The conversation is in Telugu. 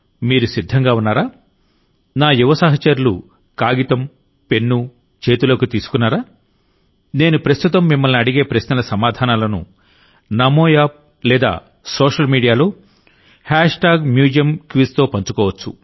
మీరు సిద్ధంగా ఉన్నారా నా యువ సహచరులుకాగితం పెన్ను చేతుల్లోకి తీసుకున్నారా నేను ప్రస్తుతం మిమ్మల్ని అడిగే ప్రశ్నల సమాధానాలను నమో యాప్ లేదా సోషల్ మీడియాలో MuseumQuizతో పంచుకోవచ్చు